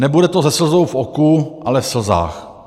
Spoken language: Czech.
Nebude to se slzou v oku, ale v slzách.